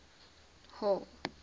hall